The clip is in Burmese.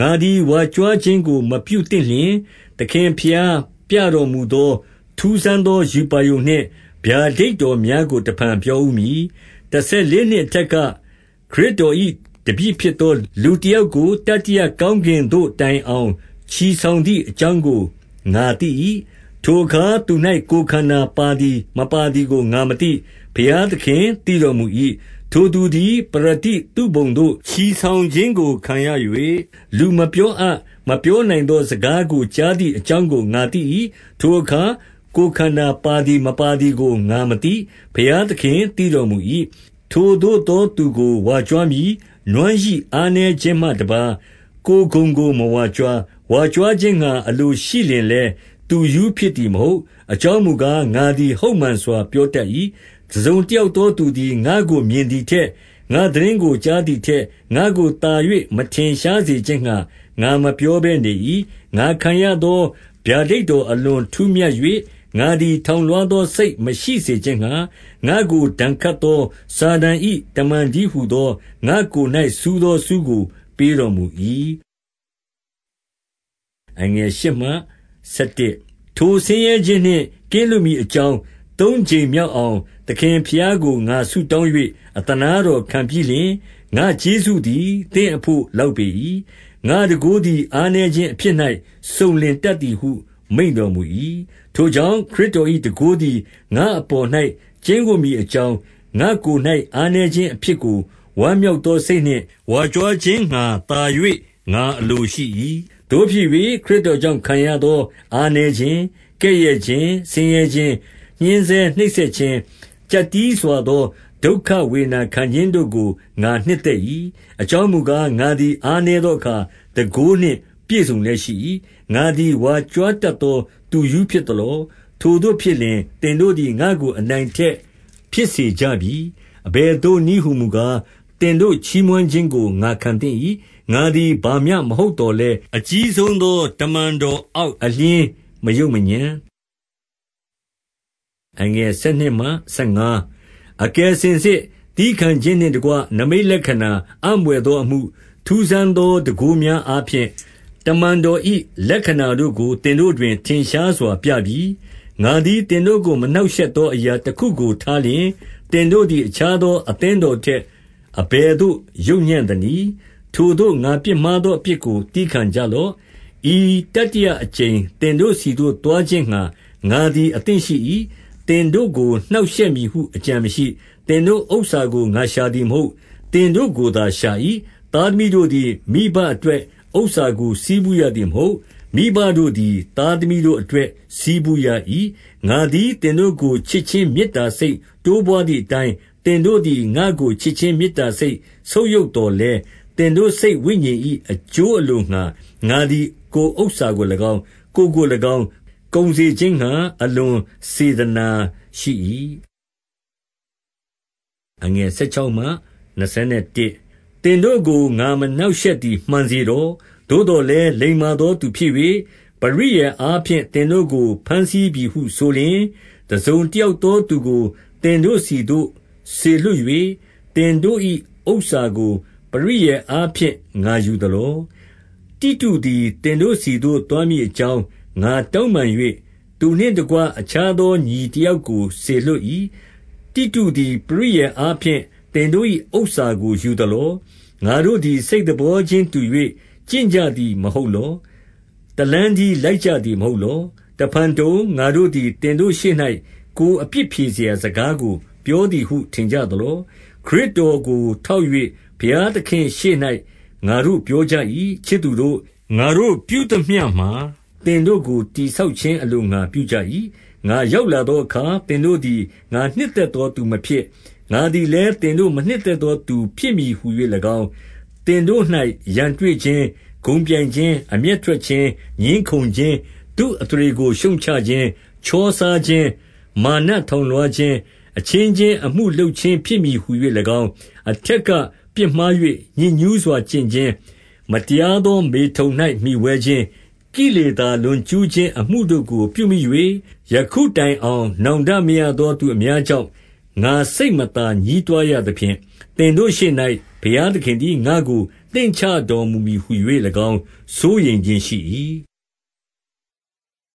ငါသည်ဝါကြွားခြင်းကိုမပြုသင့်လျှင်၊ သခင်ဘုရားပြတော်မူသော ထူးဆန်းသောရူပါရုံနှင့် ဗျာဒိတ် တော်များကို တဖန်ပြောဦးမည်။ 2 တဆယ်လေးနှစ်အထက်က၊ ခရစ်တော်၏ တပည့်ဖြစ်သော လူတယောက်ကို တတိယကောင်း ကင်သို့တိုင်အောင် ချီဆောင်သည်အကြောင်းကို ငါသိ၏။ ထိုအခါသူ၌ ကိုယ်ခန္ဓာပါသည်မပါသည်ကို ငါမသိ။ ဘုရားသခင်သိတော်မူ၏။ 3 ထိုသူသည်ပရဒိသုဘုံသို့ ချီဆောင်ခြင်းကိုခံရ၍၊ လူမပြောအပ် မပြောနိုင်သောစကားကို ကြားသည့် အကြောင်းကိုငါသိ၏။ 4 ထိုအခါ ကိုယ်ခန္ဓာပါသည် မပါသည်ကို ငါမသိ၊ ဘုရားသခင်သိတော်မူ၏။ 5 ထိုသို့သောသူကို ဝါကြွားမည်။ နွမ်းရိအားနည်းခြင်းမှ တပါး ကိုယ်ဂုဏ်ကို မဝါကြွား။ 6 ဝါကြွားခြင်းငှါအလိုရှိလျှင်လည်း၊ သူရူးဖြစ်သည်မဟုတ်။ အကြောင်းမူကား၊ ငါသည်ဟုတ်မှန်စွာ ပြော တတ်၏။ တစုံတယောက်သောသူသည် ငါ့ကိုမြင်သည်ထက်၊ ငါ့သတင်းကိုကြားသည်ထက်၊ ငါ့ကို သာ၍ မထင်စေခြင်းငှါ ငါမပြောဘဲနေ၏။ 7 ငါခံရသောဗျာဒိတ်တော် အလွန်ထူးမြတ်၍ ငါသည်ထောင်လွားသောစိတ်မရှိစေခြင်းငှါ၊ ငါ့ကို ဒဏ် ခတ်သော စာတန်၏တမန်တည်းဟူသော ငါ့ကိုယ်၌ စူးသောဆူးကို ပေးတော်မူ၏။ 8 ထိုဆင်းရဲခြင်းနှင့်ကင်းလွတ်မည်အကြောင်း သုံးကြိမ်မြောက်အောင် သခင်ဘုရားကိုငါဆုတောင်း၍ အသနားတော်ခံပြီးလျှင်၊ 9 ငါ့ကျေးဇူးသည် သင့်အဘို့လောက်ပေ၏။ ငါ့တန်ခိုးသည် အားနည်းခြင်းအဖြစ်၌ စုံလင်တတ်သည် ဟု မိန့်တော်မူ၏။ ထိုကြောင့် ခရစ်တော်၏ တန်ခိုးသည် ငါ့အပေါ်၌ ကျိန်းဝပ်မည်အကြောင်း ငါကိုယ်၌ အား နည်းခြင်းအဖြစ်ကို ဝမ်းမြောက်သောစိတ်နှင့် ဝါကြွားခြင်းငှါ သာ၍ ငါအလိုရှိ၏။ 10 သို့ဖြစ်၍ ခရစ်တော်ကြောင့်ခံရသော အားနည်းခြင်း၊ ကဲ့ရဲ့ခြင်း၊ ဆင်းရဲခြင်း၊ ညှဉ်းဆဲနှိပ်စက်ခြင်း၊ ကျပ်တည်းစွာသော ဒုက္ခဝေဒနာခံခြင်းတို့ကို ငါနှစ်သက်၏။ အကြောင်းမူကား၊ ငါသည် အားနည်းသောအခါ တန်ခိုးနှင့် ပြည့်စုံလျက်ရှိ၏။ 11 ငါသည် ဝါကြွားတတ်သော သူရူးဖြစ်သလော။ ထိုသို့ဖြစ်လျှင်၊ သင်တို့သည် ငါ့ကိုအနိုင်အထက်ဖြစ်စေကြပြီ။ အဘယ်သို့နည်းဟူမူကား၊ သင်တို့ချီးမွမ်းခြင်းကို ငါခံသင့်၏။ ငါသည် ဘာမျှမဟုတ်သော်လည်း၊ အကြီးဆုံးသော တမန်တော်အောက် အလျှင်းမယုတ်မညံ့။ 12 အကယ်စင်စစ်သည်းခံခြင်းနှင့်တကွ နိမိတ်လက္ခဏာအံဘွယ်သောအမှု၊ ထူးဆန်းသော တန်ခိုးများ အားဖြင့် တမန်တော်၏လက္ခဏာတို့ကို သင်တို့တွင် ထင်ရှားစွာပြပြီ။ 13 ငါသည်သင်တို့ကို မနှောက်ရှက်သော အရာ တခုကို ထားလျှင်၊ သင်တို့သည် အခြားသော အသင်း တော်ထက် အဘယ်သို့ယုတ်ညံ့သနည်း။ထိုသို့ ငါပြစ်မှားသောအပြစ်ကို သည်းခံကြလော့။ 14 ဤတတိယအကြိမ်သင်တို့ဆီသို့သွားခြင်းငှါ ငါသည်အသင့်ရှိ၏။ သင်တို့ကိုနှောင့်ရှက်မည်ဟု အကြံ မရှိ။ သင်တို့ဥစ္စာကို ငါရှာသည်မဟုတ်။ သင်တို့ကိုသာ ရှာ၏။ သားသမီးတို့သည် မိဘအတွက်ဥစ္စာကို ဆည်းပူး ရသည်မဟုတ်။ မိဘတို့သည် သားသမီးတို့အတွက် ဆည်းပူးရ၏။ 15 ငါသည်သင်တို့ကို ချစ်ခြင်းမေတ္တာ စိတ်တိုးပွါးသည်အတိုင်း သင်တို့သည် ငါ့ကိုချစ်ခြင်း မေတ္တာစိတ် ဆုတ်ယုတ်သော်လည်း၊ သင်တို့ စိတ်ဝိညာဉ်၏ အကျိုး အလိုငှါ ငါသည်ကိုယ်ဥစ္စာကို၎င်း၊ ကိုယ်ကို၎င်း၊ ကုန်စေ ခြင်းငှါ အလွန်စေတနာရှိ၏။ 16 သင်တို့ကိုငါမနှောက်ယှက်သည် မှန်စေတော့။ သို့သော်လည်း၊ လိမ္မာသောသူဖြစ်၍ ပရိယာယ်အားဖြင့် သင်တို့ကိုဘမ်းစီးပြီဟုဆိုလျှင်၊ 17 တစုံတယောက်သောသူကို သင်တို့ဆီသို့ စေလွှတ်၍၊ သင်တို့၏ဥစ္စာကို ပရိယာယ်အားဖြင့် ငါယူသလော။ 18 တိတုသည် သင်တို့ဆီသို့ သွားမည်အကြောင်း ငါတောင်းပန်၍၊ သူနှင့်တကွအခြားသော ညီတယောက်ကို စေလွှတ်၏။ တိတုသည် ပရိယာယ်အားဖြင့် သင်တို့၏ဥစ္စာကိုယူသလော။ ငါတို့သည် စိတ်သဘောချင်းတူ၍ကျင့်ကြသည် မဟုတ်လော။ တလမ်းတည်း လိုက်ကြသည် မဟုတ်လော။ 19 တဖန်တုံး၊ ငါတို့သည်သင်တို့ရှေ့၌ ကိုယ်အပြစ်ဖြေရာစကားကို ပြောသည်ဟုထင်ကြသလော။ ခရစ်တော်ကိုထောက်၍ ဘုရားသခင်ရှေ့၌ငါတို့ ပြောကြ၏။ ချစ်သူတို့၊ ငါတို့ပြုသမျှမှာ သင်တို့ကို တည်ဆောက်ခြင်းအလိုငှါ ပြုကြ၏။ 20 ငါရောက်လာသောအခါ၊ သင်တို့သည် ငါ နှစ်သက်သောသူမဖြစ်၊ ငါသည်လည်း သင်တို့ မနှစ်သက် သောသူ ဖြစ်မည်ဟူ၍၎င်း၊ သင်တို့၌ရန်တွေ့ခြင်း၊ ဂုဏ်ပြိုင်ခြင်း၊ အမျက်ထွက်ခြင်း၊ ငြင်းခုံခြင်း၊ သူ့အသရေကိုရှုတ်ချခြင်း၊ ချောစားခြင်း၊ မာနထောင်လွှားခြင်း၊ အချင်းချင်းအမှုလုပ်ခြင်းဖြစ်မည်ဟူ၎င်း၊ 21 အထက်ကပြစ်မှား၍ ညစ်ညူးစွာကျင့်ခြင်း၊ မတရားသောမေထုန်၌ မှီဝဲခြင်း၊ ကိလေသာ လွန်ကျူး ခြင်းအမှုတို့ကို ပြုမိ၍၊ ယခုတိုင်အောင် နောင်တမရသော သူအများကြောင့် ငါစိတ်မသာညည်းတွားရသဖြင့်၊ သင်တို့ရှေ့၌ ဘုရားသခင်သည် ငါ့ကိုနှိမ့်ချတော်မူမည် ဟူ၍၎င်း စိုးရိမ်ခြင်းရှိ၏။